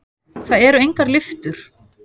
Það eru engar lyftur.